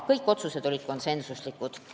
Kõik otsused olid konsensuslikud.